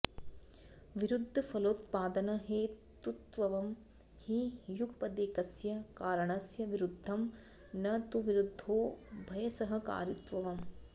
विरुद्धफलोत्पादनहेतुत्वं हि युगपदेकस्य कारणस्य विरुद्धं न तु विरुद्धोभयसहकारित्वम्